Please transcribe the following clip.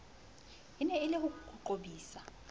eneng e le ho qobisa